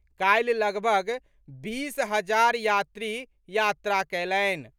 काल्हि लगभग बीस हजार यात्री यात्रा कयलनि।